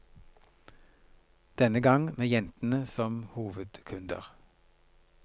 Denne gang med jentene som hovedkunder.